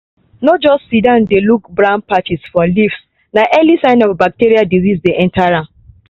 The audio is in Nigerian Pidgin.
no just siddon dey look brown patches for leaves na early sign of bacterial disease dey enter am.